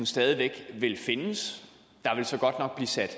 stadig væk vil findes der vil så godt nok blive sat